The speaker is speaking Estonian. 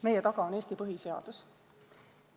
Meie taga on Eesti põhiseadus.